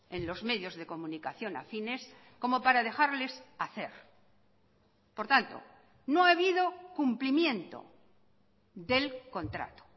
en los medios de comunicación afines como para dejarles hacer por tanto no ha habido cumplimiento del contrato